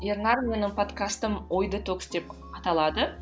ернар менің подкастым ой детокс деп аталады